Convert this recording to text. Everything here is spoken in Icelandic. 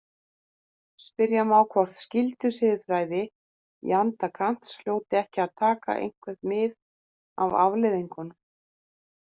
Spyrja má hvort skyldusiðfræði í anda Kants hljóti ekki að taka eitthvert mið af afleiðingum.